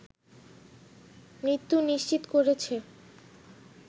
মৃত্যু নিশ্চিত করেছে